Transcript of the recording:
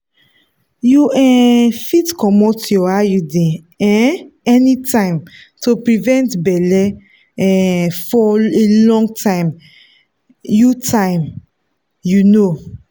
you um fit comot your iud um anytime to prevent belle um for a long time. you time. you know.